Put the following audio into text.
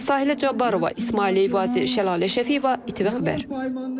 Sahilə Cabbarova, İsmail Eyvazi, Şəlalə Şəfiyeva, ATV xəbər.